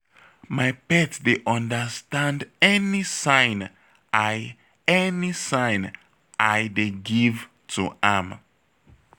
My pet dey understand any sign I any sign I dey give to am